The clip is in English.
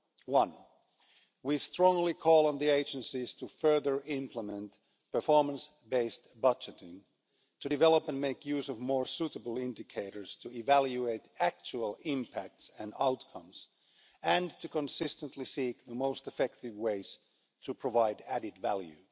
One, we strongly call on the agencies to further implement performance based budgeting to develop and make use of more suitable indicators to evaluate actual impacts and outcomes, and to consistently seek the most effective ways to provide added value.